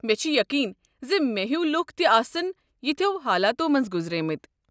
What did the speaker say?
مےٚ چھُ یقین زِ مےٚ ہوۍ لوٗکھ تہِ آسَن یِتھٮ۪و حالاتو مٔنٛزۍ گُزریمٕتۍ۔